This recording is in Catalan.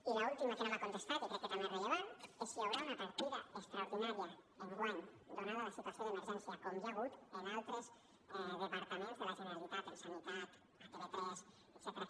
i l’última que no m’ha contestat i crec que també és rellevant és si hi haurà una partida extraordinària enguany donada la situació d’emergència com hi ha hagut en altres departaments de la generalitat en sanitat a tv3 etcètera